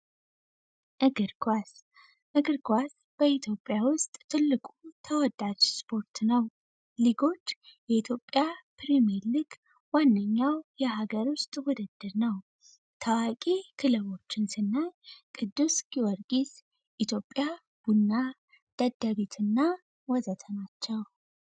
እግርስ እግርጓስ በኢትዮጵያ ውስጥ ትልቁ ተወዳች ስፖርት ነው ሊጎች የኢትዮጵያ ፕሪሜልግ ዋነኛው የሀገር ውስጥ ውድድር ነው ታዋቂ ክልቦች ንስና ቅዱስ ኪወርጊስ ኢትዮጵያ ቡና ደደሪት እና ወዘተ ናቸው